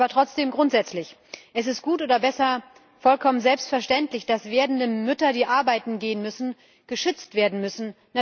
Aber trotzdem grundsätzlich Es ist gut, oder besser, vollkommen selbstverständlich, dass werdende Mütter, die arbeiten gehen müssen, geschützt werden müssen.